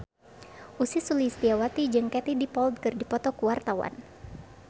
Ussy Sulistyawati jeung Katie Dippold keur dipoto ku wartawan